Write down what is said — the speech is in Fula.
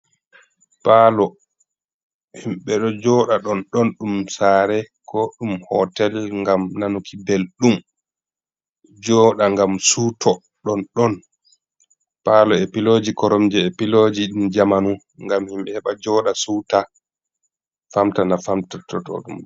Paalo himɓe ɗo jooɗa ɗonɗon ɗum saare ko ɗum hootel .Ngam nanuki belɗum, jooɗa ngam siwto ɗonɗon. Paalo e pilooji koromje e pilooji ɗi jamanu ,ngam himɓe heɓa jooɗa siwta famtana fattotoɗum.